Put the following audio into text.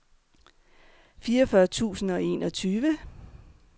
fireogfyrre tusind og enogtyve